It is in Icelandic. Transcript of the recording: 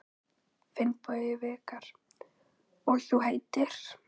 Finnbogi Vikar: Og þú heitir?